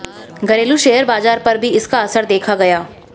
घरेलू शेयर बाजार पर भी इसका असर देखा गया